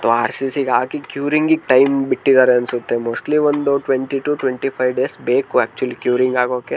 R C C ಗೆ ಹಾಕಿ ಕ್ಯೂರಿಂಗ್ಗೆ ಟೈಮ್ ಬಿಟ್ಟಿದ್ದಾರೆ ಅನ್ಸುತ್ತೆ ಮೋಸ್ಟ್ಲಿ ಒಂದು twenty two twenty five days ಬೇಕು ಆಕ್ಚುವಲ್ಲಿ ಕ್ಯೂರಿಂಗ್ ಆಗೋಕೆ.